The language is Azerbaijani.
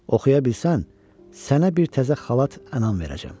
Oxuya bilsən, sənə bir təzə xalat ənam verəcəm.